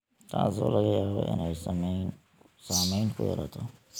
taasoo laga yaabo inay saameyn ku yeelato.